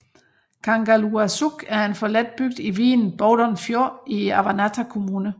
Kangerluarsuk er en forladt bygd i vigen Bowdoin Fjord i Avannaata Kommune